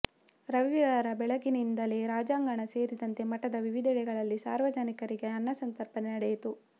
ರವಿವಾರ ಬೆಳಗ್ಗಿನಿಂದಲೇ ರಾಜಾಂಗಣ ಸೇರಿದಂತೆ ಮಠದ ವಿವಿಧೆಡೆಗಳಲ್ಲಿ ಸಾರ್ವಜನಿಕರಿಗೆ ಅನ್ನಸಂತರ್ಪಣೆ ನಡೆಯಿತು